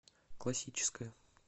классическая